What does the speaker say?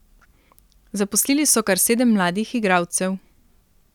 Zaposlili so kar sedem mladih igralcev.